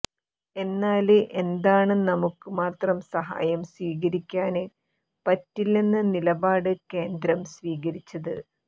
എന്നാല് എന്താണ് നമുക്ക് മാത്രം സഹായം സ്വീകരിക്കാന് പറ്റില്ലെന്ന നിലപാട് കേന്ദ്രം സ്വീകരിച്ചത്